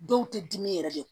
Dɔw tɛ dimi yɛrɛ de